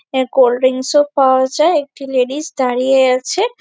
এহ কোল্ডড্রিংকস -ও পাওয়া যায়। একটি লেডিস দাঁড়িয়ে আছে ।